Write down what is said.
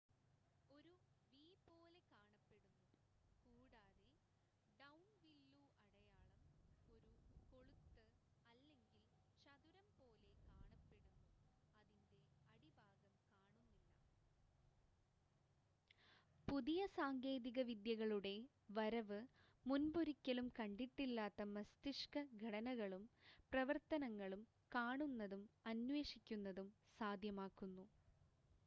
പുതിയ സാങ്കേതിക വിദ്യകളുടെ വരവ് മുൻപൊരിക്കലും കണ്ടിട്ടില്ലാത്ത മസ്തിഷ്‌ക ഘടനകളും പ്രവർത്തനങ്ങളും കാണുന്നതും അന്വേഷിക്കുന്നതും സാധ്യമാക്കുന്നു